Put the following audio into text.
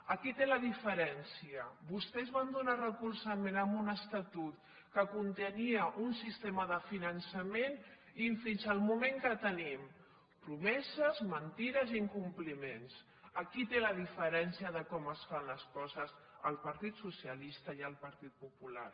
aquí té la diferència vostès van donar recolzament a un estatut que contenia un sistema de finançament i fins al moment què tenim promeses mentides i incompliments aquí té la diferència de com es fan les coses al partit socialista i al partit popular